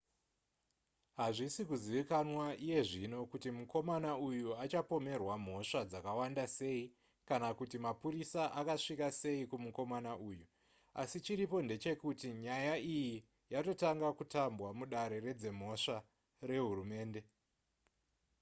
hazvisi kuzivikanwa iye zvino kuti mukomana uyu achapomerwa mhosva dzakawanda sei kana kuti mapurisa akasvika sei kumukomana uyu asi chiripo ndechekuti nyaya iyi yatotanga kutambwa mudare redzimhosva rehurumende